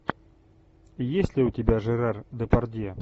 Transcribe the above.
есть ли у тебя жерар депардье